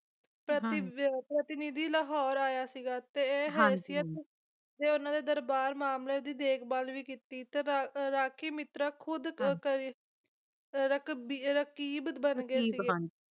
ਪ੍ਰਤੀ ਪ੍ਰਤੀਨਿਧੀ ਲਾਹੌਰ ਆਇਆ ਸੀਗਾ ਤੇ ਹੈਸੀਅਤ ਤੇ ਉਹਨਾਂ ਦੇ ਦਰਬਾਰ ਮਾਮਲੇ ਦੀ ਦੇਖਭਾਲ ਵੀ ਕੀਤੀ ਤੇ ਰਾ ਰਾਖੀ ਮਿੱਤਰ ਖੁਦ ਕਰ ਅਹ ਰਕਬ ਰਕੀਬ ਬਣ ਗਏ ਸੀਗੇ